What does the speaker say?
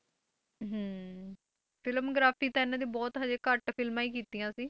ਹਮ filmography ਤਾਂ ਇਹਨਾਂ ਨੇ ਬਹੁਤ ਹਜੇ ਘੱਟ ਫਿਲਮਾਂ ਹੀ ਕੀਤੀਆਂ ਸੀ,